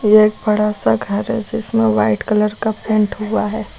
एक बड़ा सा घर है जिसमें व्हाइट कलर का पेंट हुआ है।